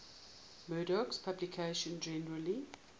murdoch's publications generally